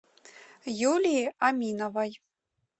юлии аминовой